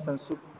Sanskrit